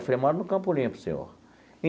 Eu falei, eu moro no Campo Limpo, senhor.